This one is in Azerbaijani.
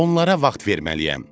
Onlara vaxt verməliyəm.